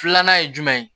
Filanan ye jumɛn ye